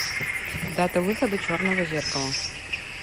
дата выхода черного зеркала